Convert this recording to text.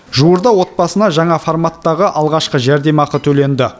жуырда отбасына жаңа форматтағы алғашқы жәрдемақы төленді